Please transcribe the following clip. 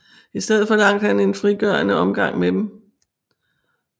Istedet forlangte han en frigørende omgang med dem